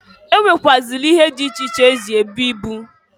E nwekwuazịli ihe dị iche iche eji ebu ibu.